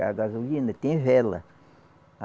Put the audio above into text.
A gasolina tem vela.